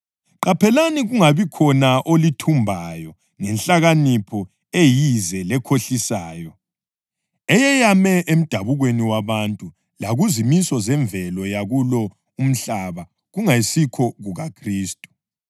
Qaphelani kungabikhona olithumbayo ngenhlakanipho eyize lekhohlisayo, eyeyame emdabukweni wabantu lakuzimiso zemvelo yakulo umhlaba kungesikho kuKhristu.